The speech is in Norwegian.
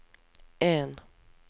en